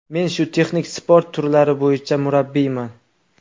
Men shu texnik sport turlari bo‘yicha murabbiyman.